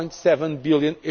1.7 billion.